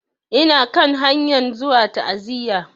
Ina kan hanyan zuwa ta'aziya.